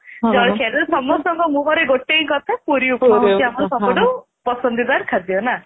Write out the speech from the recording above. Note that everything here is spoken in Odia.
ଜଳଖିଆରେ ସମସ୍ତଙ୍କ ମୁହଁ ରେ ଗୋଟିଏ କଥା ପୁରୀ ଉପମା ହେଉଛି ଆମର ସବୁଠୁ ପସନ୍ଦିଦାର ଖାଦ୍ୟ ନା